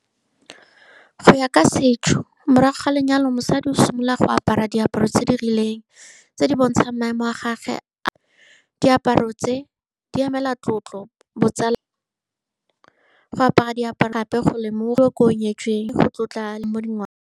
Go ya ka setso, morago ga lenyalo, mosadi o simolola go apara diaparo tse di rileng tse di bontshang maemo a gagwe . Diaparo tse di emela tlotlo, botsala, go apara diaparo gape go nyetsweng, go tlotla mo dingwao.